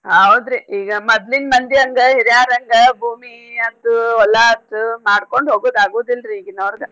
ಹೌದ್ರಿ ಈಗ ಮದ್ಲಿನ್ ಮಂದಿ ಹಂಗ ಹಿರ್ಯಾರ ಹಂಗ ಭೂಮಿ ಅಗ್ದು ಹೊಲಾ ಆತು ಮಾಡ್ಕೊಂಡ್ ಹೋಗುದ್ ಆಗುದಿಲ್ರೀ ಈಗಿನೋರ್ಗ.